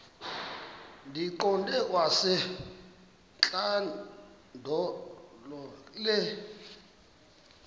ndiyiqande kwasentlandlolo le